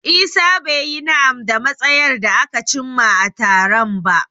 Isah bai yi na'am da matsayar da aka cimma a taron ba.